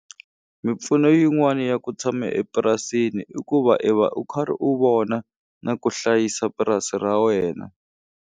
Mimpfuno yin'wani ya ku tshama epurasini i ku va i va u karhi u vona na ku hlayisa purasi ra wena.